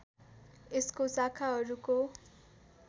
यसको शाखाहरूको